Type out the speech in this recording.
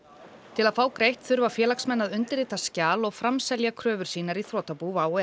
til að fá greitt þurfa félagsmenn að undirrita skjal og framselja kröfur sínar í þrotabú WOW